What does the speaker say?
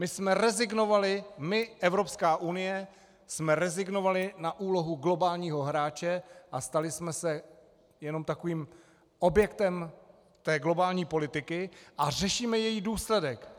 My jsme rezignovali, my, Evropská unie, jsme rezignovali na úlohu globálního hráče a stali jsme se jenom takovým objektem té globální politiky a řešíme její důsledek.